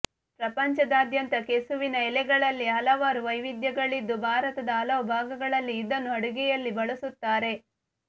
ಪ್ರಪಂಚದಾದ್ಯಂತ ಕೆಸುವಿನ ಎಲೆಗಳಲ್ಲಿ ಹಲವಾರು ವೈವಿಧ್ಯಗಳಿದ್ದು ಭಾರತದ ಹಲವು ಭಾಗಗಳಲ್ಲಿ ಇದನ್ನು ಅಡುಗೆಯಲ್ಲಿ ಬಳಸುತ್ತಾರೆ